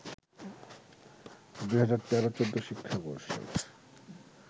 ২০১৩-২০১৪ শিক্ষাবর্ষের